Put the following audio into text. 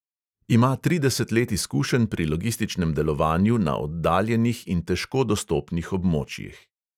Ima trideset let izkušenj pri logističnem delovanju na oddaljenih in težko dostopnih območjih.